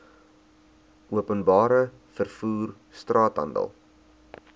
openbare vervoer straathandel